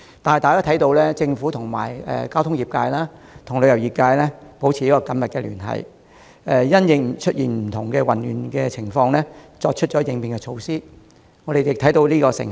不過，在政府與交通業界及旅遊業界保持緊密聯繫，因應出現的不同混亂情況採取應變措施後，我們已看到成效。